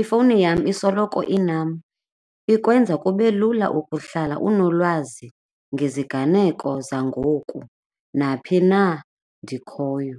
ifowuni yam isoloko inam, ikwenza kube lula ukuhlala unolwazi ngeziganeko zangoku naphi na ndikhoyo.